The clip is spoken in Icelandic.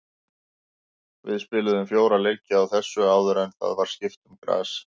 Við spiluðum fjóra leiki á þessu áður en það var skipt um gras.